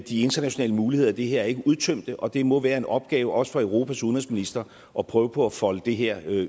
internationale muligheder i det her ikke er udtømte og det må være en opgave også for europas udenrigsministre at prøve på at folde det her